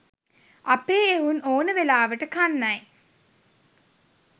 අපේ එවුන් ඕන වෙලාවට කන්නයි